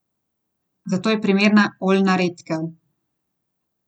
Ilija Stolica je na klopi Olimpije zmagal le enkrat.